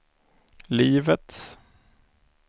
livets